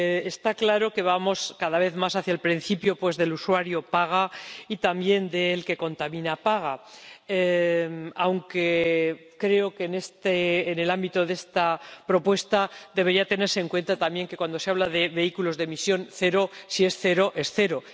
Está claro que vamos cada vez más hacia el principio de el usuario paga y también al de el que contamina paga, aunque creo que en el ámbito de esta propuesta debería tenerse en cuenta también que, cuando se habla de vehículos de emisión cero, si es cero, es cero.